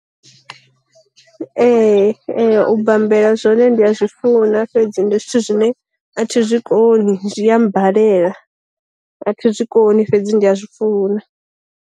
Ee ee u bambela zwone ndi a zwi funa fhedzi ndi zwithu zwine athi zwi koni zwi ya mmbalela, a thi zwi koni fhedzi ndi a zwi funa.